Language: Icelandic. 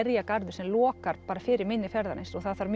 skerjagarður sem lokar fyrir mynni fjarðarins og það þarf